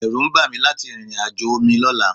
Ẹ̀rù ń bà mí láti rìnrìn àjò omi lọ́la